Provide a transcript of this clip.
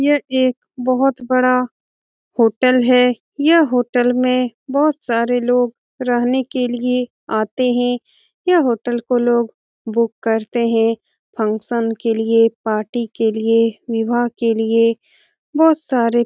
यह एक बहुत बड़ा होटल है यह होटल में बहुत सारे लोग रहने के लिए आते हैं यह होटल को लोग बुक करते हैं फंक्शन के लिए पार्टी के लिए विवाह के लिए बहुत सारे --